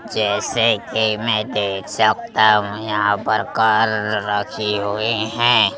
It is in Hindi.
जैसे कि मै देख सकता हूं यहां पर कार ररखे हुए है।